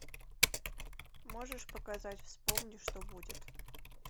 можешь показать вспомни что будет